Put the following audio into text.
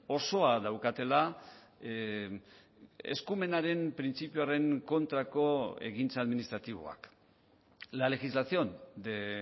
osoa daukatela eskumenaren printzipioaren kontrako egintza administratiboak la legislación de